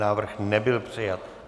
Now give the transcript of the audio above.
Návrh nebyl přijat.